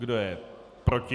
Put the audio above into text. Kdo je proti?